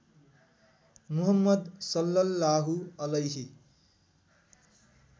मुहम्मद सल्लल्लाहु अलैहि